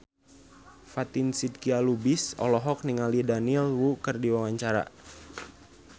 Fatin Shidqia Lubis olohok ningali Daniel Wu keur diwawancara